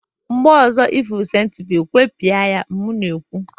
mgbe ọzọ ị hụrụ centipide gwepịara ya m na-ekwu!